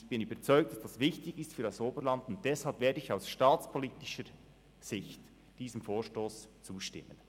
Ich bin überzeugt, dass das für das Oberland wichtig ist, und deshalb werde ich diesem Vorstoss aus staatspolitischer Sicht zustimmen.